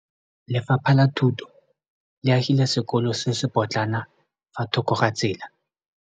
Lefapha la Thuto le agile sekôlô se se pôtlana fa thoko ga tsela.